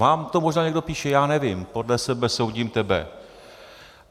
Vám to možná někdo píše, já nevím, podle sebe soudím tebe.